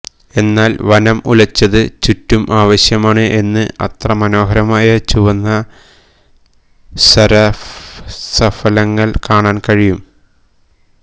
എന്നാൽ വനം ഉലച്ചത് ചുറ്റും ആവശ്യമാണ് എന്ന് അത്ര മനോഹരമായ ചുവന്ന സരസഫലങ്ങൾ കാണാൻ കഴിയും